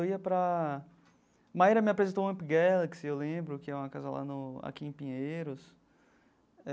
Eu ia para... Maíra me apresentou o AmpGalaxy, eu lembro, que é uma casa lá no... aqui em Pinheiros.